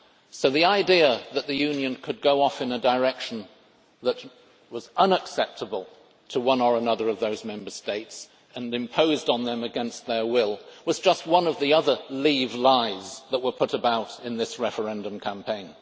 So the idea that the Union could go off in a direction that was unacceptable to one or another of those Member States and that could be imposed on them against their will was just one of the other Leave lies that were put about in this referendum campaign.